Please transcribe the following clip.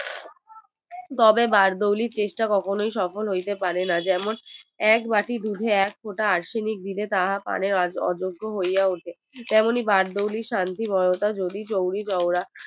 তবে বার্দৌলির চেষ্টা কখনোই সফল হইতে পারে না যেমন একবাটি দুধে এক ফোঁটা Arsenic দিলে তাহা পানের অযোগ্য হয়ে উঠে তেমনই বর্দৌলির শান্তির বার্তা চৌরি চৌরা